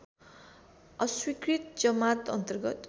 अस्वीकृत जमात अन्तर्गत